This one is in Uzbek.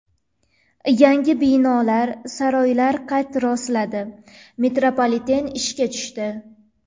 Yangi binolar, saroylar qad rostladi, metropoliten ishga tushdi.